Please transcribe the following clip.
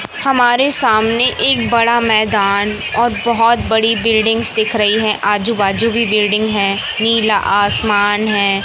हमारे सामने एक बड़ा मैदान और बहुत बड़ी बिल्डिंगस दिख रही है आजू बाजू की बिल्डिंग है नीला आसमान है।